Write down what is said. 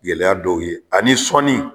Gɛlɛya dɔw ye ani sɔnni